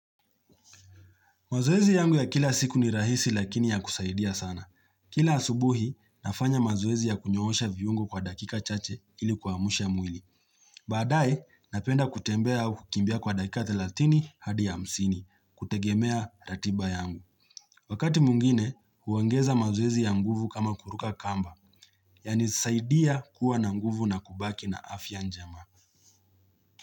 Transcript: Mazoezi yangu ya kila siku ni rahisi lakini ya kusaidia sana. Kila asubuhi, nafanya mazoezi ya kunyoosha viungo kwa dakika chache ilikuamsha mwili. Badaye, napenda kutembea au kukimbia kwa dakika thelathini hadi hamsini, kutegemea ratiba yangu. Wakati mwingine, huongeza mazoezi ya nguvu kama kuruka kamba, yanisaidia kuwa na nguvu na kubaki na afya njema.